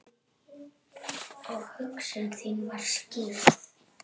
Og hugsun mín var skýr.